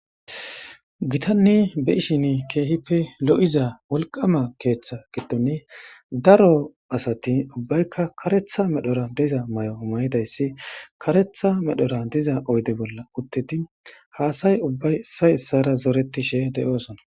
gitanne be'ishin keehippe lo'iza wolqama keeththa gidoni daro asati ubbaykka karetha medhora diza mayo mayidayssi karetha medhora diza oyde bolla uttedi haasay ubbay issay issara zoretishe de'oosona